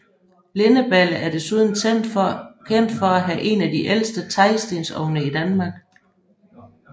Lindeballe er desuden kendt for at have en af de ældste teglstensovne i Danmark